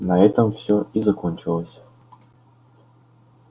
на этом всё и закончилось